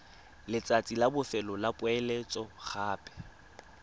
letsatsi la bofelo la poeletsogape